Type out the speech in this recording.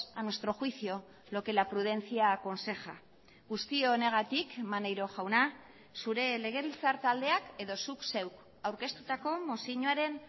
a nuestro juicio lo que la prudencia aconseja guzti honegatik maneiro jauna zure legebiltzar taldeak edo zuk zeuk aurkeztutako mozioaren